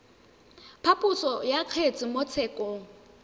phaposo ya kgetse mo tshekong